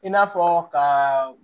I n'a fɔ ka